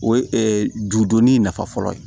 O ye judonin in nafa fɔlɔ ye